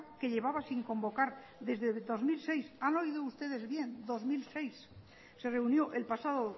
que llevaba sin convocar desde dos mil seis han oído ustedes bien dos mil seis se reunió el pasado